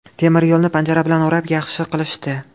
Temiryo‘lni panjara bilan o‘rab yaxshi qilishdi.